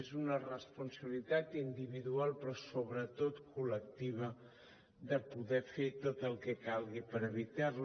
és una responsabilitat individual però sobretot col·lectiva de poder fer tot el que calgui per evitar les